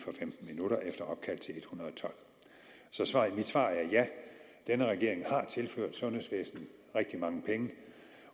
hundrede og tolv så mit svar er ja denne regering har tilført sundhedsvæsenet rigtig mange penge